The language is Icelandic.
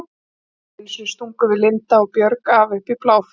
Einu sinni stungum við Linda og Björg af upp í Bláfjöll með